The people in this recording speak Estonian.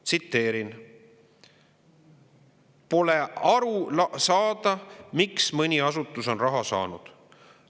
Tsiteerin: " pole tihtilugu aru saada, miks mõni asutus on raha saanud.